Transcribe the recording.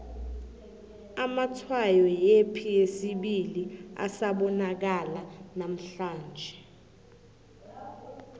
amatshwayo yepi yesibili asabonakala nanamhlanje